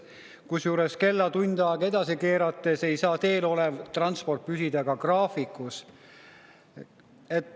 Kusjuures, kella tund aega edasi keerates ei saa teel olev transport püsida graafikus.